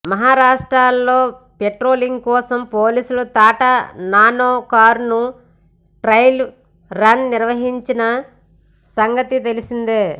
మహారాష్ట్రలో పెట్రోలింగ్ కోసం పోలీసులు టాటా నానో కారును ట్రైల్ రన్ నిర్వహించిన సంగతి తెలిసిందే